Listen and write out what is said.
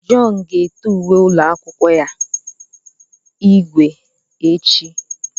John ga-ete uwe ụlọ akwụkwọ ya ígwè echi.